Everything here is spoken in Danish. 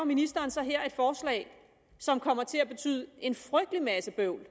ministeren så her et forslag som kommer til at betyde en frygtelig masse bøvl